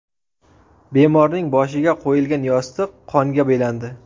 Bemorning boshiga qo‘yilgan yostiq qonga belandi.